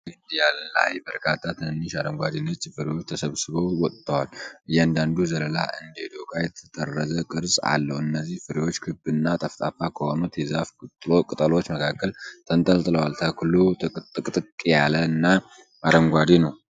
ረዣዥም ግንድ ላይ በርካታ ትንንሽ አረንጓዴ ነጭ ፍሬዎች ተሰባስበው ወጥተዋል። እያንዳንዱ ዘለላ እንደ ዶቃ የተጠረዘ ቅርጽ አለው። እነዚህ ፍሬዎች ክብ እና ጠፍጣፋ ከሆኑት የዛፉ ቅጠሎች መካከል ተንጠልጥለዋል። ተክሉ ጥቅጥቅ ያለና አረንጓዴ ነው።